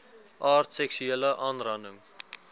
aard seksuele aanranding